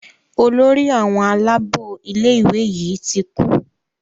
Olórí àwọn Àlàabò ilé ìwé yí tí kú.